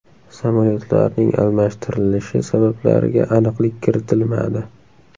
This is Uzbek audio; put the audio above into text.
Samolyotlarning almashtirilishi sabablariga aniqlik kiritilmadi.